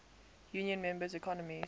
union member economies